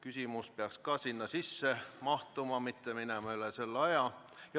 Küsimus peaks ka sinna sisse mahtuma, mitte minema üle selle aja.